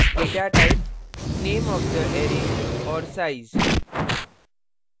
datatype name of the array array का name और size